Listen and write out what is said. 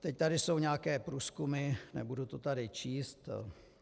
Teď tu jsou nějaké průzkumy, nebudu to tady číst.